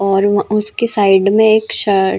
और उसके साइड में एक शर्ट --